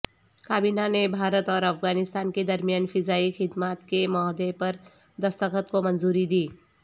کابینہ نے بھارت اور افغانستان کے درمیان فضائی خدمات کے معاہدے پر دستخط کومنظوری دی